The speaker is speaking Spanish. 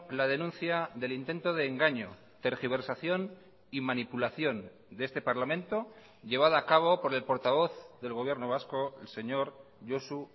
la denuncia del intento de engaño tergiversación y manipulación de este parlamento llevada a cabo por el portavoz del gobierno vasco el señor josu